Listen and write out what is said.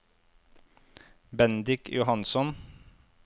Bendik Johansson